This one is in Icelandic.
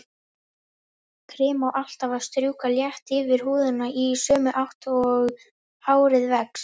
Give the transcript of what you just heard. Krem á alltaf að strjúka létt yfir húðina í sömu átt og hárið vex.